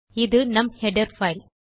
இது நம் header file